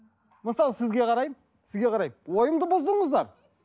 мысалы сізге қараймын сізге қараймын ойымды бұздыңыздар